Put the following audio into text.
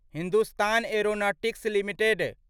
Hindustan aeronautics limited